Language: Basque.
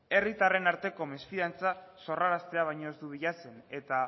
herritaren arteko mesfidantza sorraraztea baino ez du bilatzen eta